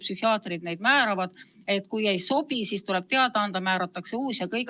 Psühhiaatrid määravad neid ja kui mõni ei sobi, siis tuleb sellest teada anda ja määratakse uus ravi.